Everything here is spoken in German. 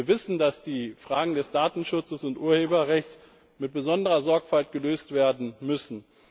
Wir wissen, dass die Fragen des Datenschutzes und Urheberrechts mit besonderer Sorgfalt gelöst werden müssen.